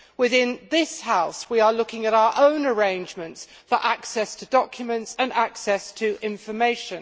Within this House, we are looking at our own arrangements for access to documents and access to information.